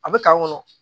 A bɛ kan kɔnɔ